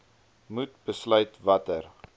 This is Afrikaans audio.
moet besluit watter